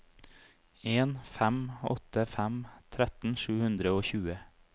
en fem åtte fem tretten sju hundre og tjue